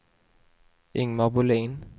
Ingmar Bohlin